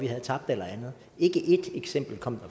havde tabt eller andet ikke ét eksempel kom